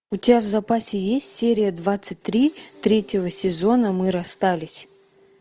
у тебя в запасе есть серия двадцать три третьего сезона мы расстались